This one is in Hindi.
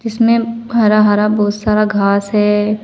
इसमें हरा हरा बहोत सारा घास है।